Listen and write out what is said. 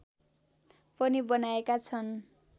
पनि बनाएका छन्